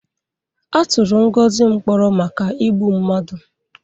A tụrụ Ngozi mkpọrọ maka igbu mmadụ.